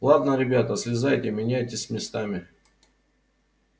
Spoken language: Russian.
ладно ребята слезайте меняйтесь местами